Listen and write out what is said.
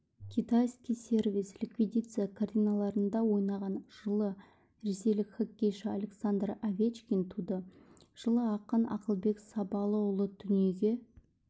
китайский сервиз ликвидация картиналарында ойнаған жылы ресейлік хоккейші александр овечкин туды жылы ақын ақылбек сабалұлы дүниеге